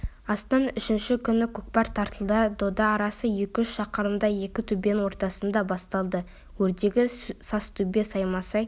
астын үшінші күні көкпар тартылды дода арасы екі-үш шақырымдай екі төбенің ортасында басталды өрдегі сазтөбе саймасай